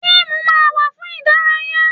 Fíìmù máa ń wà fún ìdárayá.